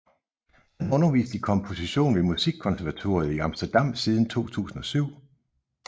Han har undervist i komposition ved Musikkonservatoriet i Amsterdam siden 2007